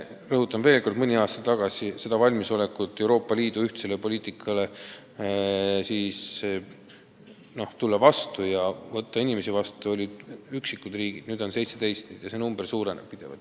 Rõhutan veel kord, et kui mõni aasta tagasi olid vaid üksikud riigid valmis Euroopa Liidu ühtsele poliitikale vastu tulema ja inimesi vastu võtma, siis nüüd on neid 17 ja see number suureneb pidevalt.